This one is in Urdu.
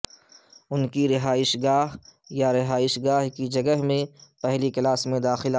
ان کی رہائش گاہ یا رہائش گاہ کی جگہ میں پہلی کلاس میں داخلہ